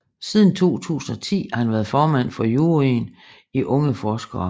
Siden 2010 har han været formand for juryen i Unge Forskere